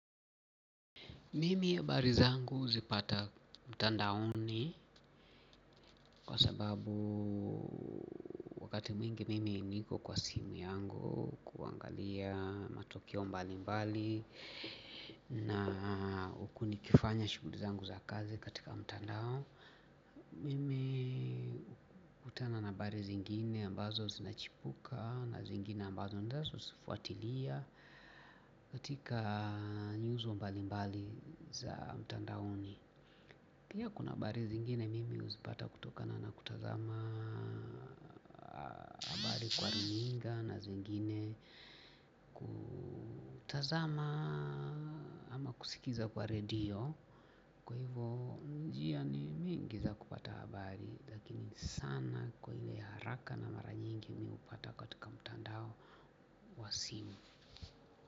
Mimi habari zangu huzipata mtandaoni kwa sababu wakati mwingi mimi niko kwa simu yangu kuangalia matokeo mbali mbali na huku nikifanya shughuli zangu za kazi katika mtandao. Mimi hukutana na habari zingine ambazo zinachipuka na zingine ambazo ninazo zifuatilia katika nyuzo mbali mbali za mtandaoni. Pia kuna habari zingine mimi huzipata kutoka na kutazama habari kwa runinga na zingine kutazama ama kusikiza kwa radio, kwa hivyo njia ni mingi za kupata habari lakini sana kwa ile ya haraka na mara nyingi mimi hupata katika mtandao wa simu.